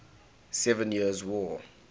seven years war